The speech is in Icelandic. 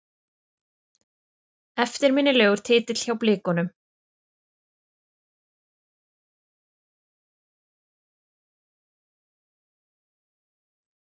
Eftirminnilegur titill hjá Blikunum.